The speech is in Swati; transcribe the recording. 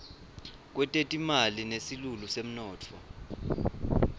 kwetetimali nesilulu semnotfo